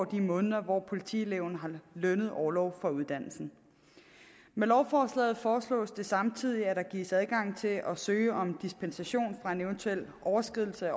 de måneder hvor politieleverne har lønnet orlov fra uddannelsen med lovforslaget foreslås det samtidig at der gives adgang til at søge om dispensation fra en eventuel overskridelse